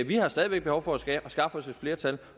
vi har stadig væk behov for at skaffe os et flertal